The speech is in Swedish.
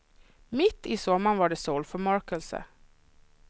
Mitt i sommaren var det solförmörkelse.